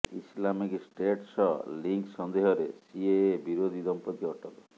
Islamic State ସହ link ସନ୍ଦେହରେ CAA ବିରୋଧୀ ଦମ୍ପତି ଅଟକ